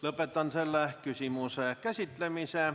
Lõpetan selle küsimuse käsitlemise.